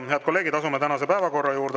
Head kolleegid, asume tänase päevakorra juurde.